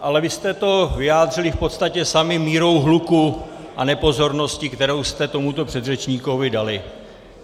Ale vy jste to vyjádřili v podstatě sami mírou hluku a nepozorností, kterou jste tomuto předřečníkovi dali.